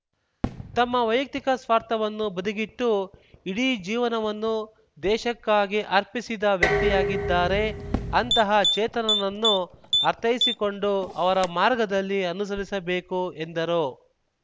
ತಮ್ಮ ವೈಯುಕ್ತಿಕ ಸ್ವಾರ್ಥವನ್ನು ಬದಿಗಿಟ್ಟು ಇಡೀ ಜೀವನವನ್ನು ದೇಶಕ್ಕಾಗಿ ಅರ್ಪಿಸಿದ ವ್ಯಕ್ತಿಯಾಗಿದ್ದಾರೆ ಅಂತಹ ಚೇತನನನ್ನು ಅರ್ಥೈಸಿಕೊಂಡು ಅವರ ಮಾರ್ಗದಲ್ಲಿ ಅನುಸರಿಸಬೇಕು ಎಂದರು